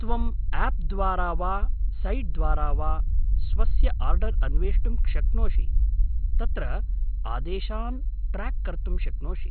त्वम् आप् द्वारा वा सैट्द्वारा वा स्वस्य आर्डर् अन्वेष्टुं शक्नोषि, तत्र आदेशान् ट्र्याक् कर्तुं शक्नोषि।